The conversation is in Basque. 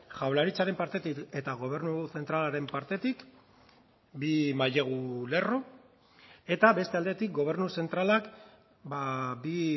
jaurlaritzaren partetik eta gobernu zentralaren partetik bi mailegu lerro eta beste aldetik gobernu zentralak bi